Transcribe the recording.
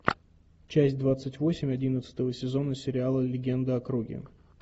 часть двадцать восемь одиннадцатого сезона сериала легенда о круге